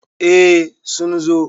eh sun zo